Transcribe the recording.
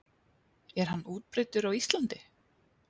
Er hann útbreiddur á Íslandi?